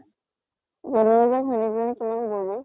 ঘৈণীয়েক জনী কিমান bore ৰে।